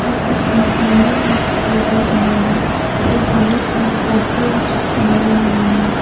और कुछ इंसाने भी दिखाई दे रहा है और बहुत सारा पोस्टर भी चिपकाया हुआ है।